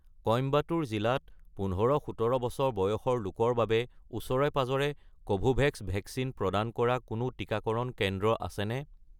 কইম্বাটুৰ জিলাত ১৫-১৭ বছৰ বয়সৰ লোকৰ বাবে ওচৰে-পাঁজৰে কোভোভেক্স ভেকচিন প্ৰদান কৰা কোনো টিকাকৰণ কেন্দ্ৰ আছেনে?